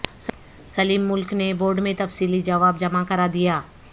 سلیم ملک نے بورڈ میں تفصیلی جواب جمع کرادیا